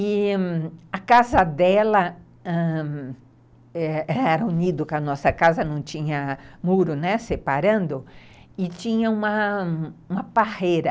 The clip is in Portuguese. E a casa dela ãh era unida com a nossa casa, não tinha muro, né, separando, e tinha uma parreira.